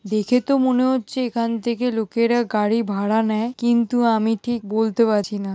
দেখে তো মনে হচ্ছে এখান থেকে লোকেরা গাড়ি ভাড়া নেয়। কিন্তু আমি ঠিক বলতে পাচ্ছি না।